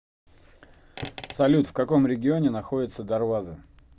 салют в каком регионе находится дарваза